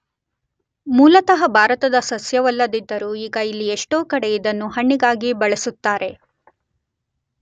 ಮೂಲತಃ ಭಾರತದ ಸಸ್ಯವಲ್ಲದಿದ್ದರೂ ಈಗ ಇಲ್ಲಿ ಎಷ್ಟೋ ಕಡೆ ಇದನ್ನು ಹಣ್ಣಿಗಾಗಿ ಬೆಳೆಸುತ್ತಾರೆ.